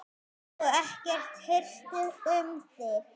Og ekkert hirt um þig.